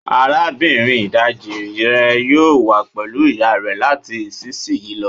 Arabinrin idaji rẹ yoo wa pẹlu iya rẹ lati isisiyi lọ